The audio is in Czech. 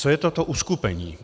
Co je toto uskupení?